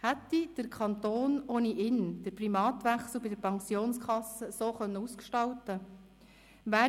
Hätte der Kanton ohne ihn den Primatwechsel bei der Pensionskasse so ausgestalten können?